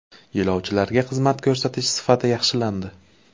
Yo‘lovchilarga xizmat ko‘rsatish sifati yaxshilandi.